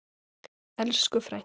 Elsku frænka.